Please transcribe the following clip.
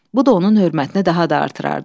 Bu da onun hörmətini daha da artırırdı.